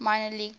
minor league teams